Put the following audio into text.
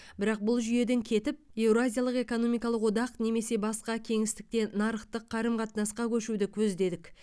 бірақ бұл жүйеден кетіп еуразиялық экономикалық одақ немесе басқа кеңістікте нарықтық қарым қатынасқа көшуді көздедік